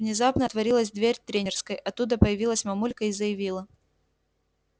внезапно отворилась дверь тренерской оттуда появилась мамулька и заявила